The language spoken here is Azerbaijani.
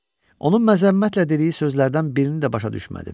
Onun məzəmmətlə dediyi sözlərdən birini də başa düşmədim.